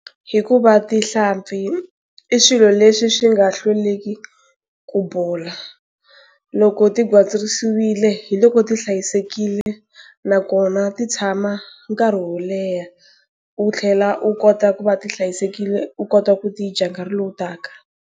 Hikuva tihlampfi i swilo leswi swi nga hlweliki ku bola. Loko ti gwitsirisiwile, hi loko ti hlayisekile nakona ti tshama nkarhi wo leha. U tlhela u kota ku va ti hlayisekile u kota ku ti dya nkarhi lowu taka.